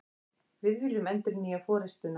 Við viljum endurnýja forustuna